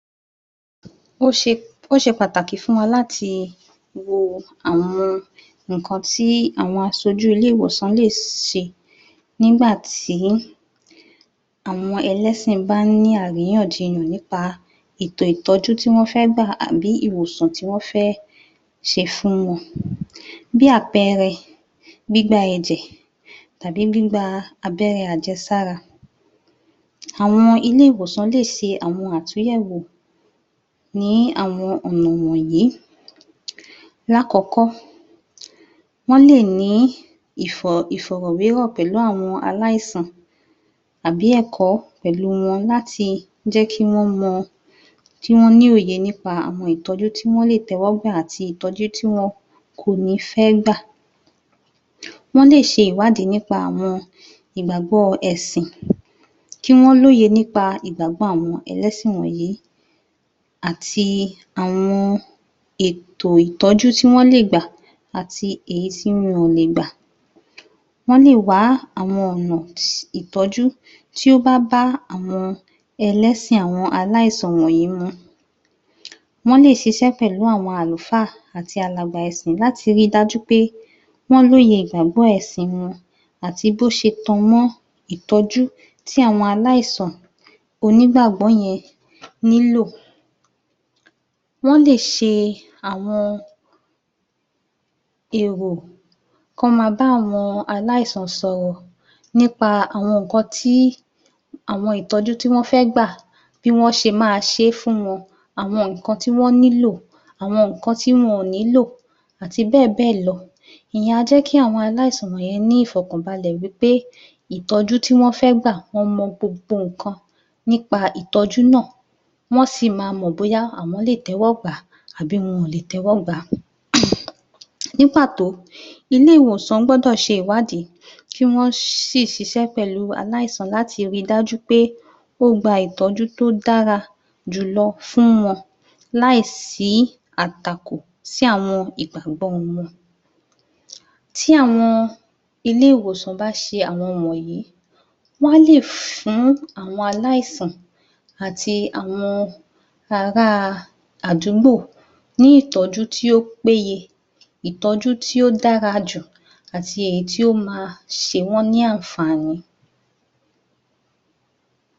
Ó ṣe ó ṣe pàtàkì fún wa láti wo àwọn ìkán àwọn asojú ilé - ìwòsàn lè ṣe nígbatí àwọn ẹlẹ́sìn bá ní àríyànjiyàn nípa ètò ìtọ́jú tí wọ́n fé gbà àbí ìwòsàn tí wọ́n fẹ́ gbà ti fún wọn bí àpẹẹre gbígba ẹ̀jẹ̀ àbi gbígba abẹ́rẹ́ abẹ́ré ajẹ̀sára àwọn ilé -ìwòsàn lé ṣe àwọn àtúnyẹ̀wò ní àwọn ọ̀nà wọ̀nyí lákọ̀kọ́ wọ́n lè ní ìfọ̀rọ̀wérò láàrín pẹ̀lú àwọn alásàn tàbí ẹ̀kọ́ pẹ̀lú wọn láti jẹ́ kí wọ́n mọ kíwọ́n ní òye nípa àwọn ìtọ́jú tí wọ́n lè tẹ́wọ́gbà àti ìtọ́jú tí wọn kó ní fẹ́ gbà wọ́n lè ṣe ìwádí nípa àwọn ìgbàgbọ́ ẹ̀sìn kí wọ́n lòye nípa ìgbàgbọ́ àwọn ẹlẹ́sìn wọ̀nyí àti àwọn ètò ìtọ́jú tí wọ́n lè gbà àti èyí tí wọn ò le gbà wọ́n lè wá àwọn ọ̀nà um ìtọ́jú tí ó bá bá àwọn ẹlẹ́sìn àwọn alásàn wònyí mu wọ́n lè ṣiṣẹ́ pẹ̀lú àwọn àlùfá àti alàgbà ẹ̀sìn láti ri dájú pé wọn lóye ìgbàgbọ́ òye ẹ̀ṣìn wọn àti bó ṣe tan mọ́ ìtọ́jú tí àwọn alásàn onígbàgbọ́ yen nílò wọ́n lè ṣe àwọn èrò tó ma bá àwọn alásàn sọ̀rọ̀ nípa àwọn ìkàn tí àwọn ìtọ́jú tí wọ́n fẹ́ gbà bí wọ́n ṣe ma ṣé fún wọn àwọn ìkan tí wọ́n nílò àwọn ìkan tí wọn kò nílò àti bẹ́ẹ̀bẹ́ lọ ìyen a jẹ́ kí àwọn alásàn wọ̀n yen ní ìfọ̀kànbalẹ̀ wí pé ìtọ́jú tí wọ́n fé gbà wọ́n mọ gbogbo ìkan nípa ìtọ́jú náà wọ́n sì ma mọ̀ bóyá awọn lè téwọ́gbà àbí wọn ò lè tẹ́wọ́gbà á um um ní pàtó ilé - ìwòsàn gbọ́dò ṣe ìwádí kí wọ́n ṣiṣẹ́ pẹ̀lú alásàn láti ri dájú pé ó gba ìtọ́jú tó dára jùlọ fún wọn láì sí àtakò sí àwọn ìgbàgbọ́ wọn tí àwọn ilé- ìwòsàn bá ṣe àwọn wọ̀nyí wọ́n á lè fún àwọn alásàn àti àwọn ará a àdúgbò ní ìtọ́jú tó péye ìtọ́jú tí ó dára jù àti èyí tó ma ṣe wọ́n ní àfàní